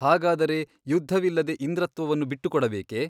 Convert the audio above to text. ಹಾಗಾದರೆ ಯುದ್ಧವಿಲ್ಲದೆ ಇಂದ್ರತ್ವವನ್ನು ಬಿಟ್ಟುಕೊಡಬೇಕೆ ?